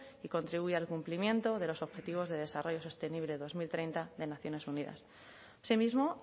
que contribuya al cumplimiento de los objetivos de desarrollo sostenible dos mil treinta de naciones unidas así mismo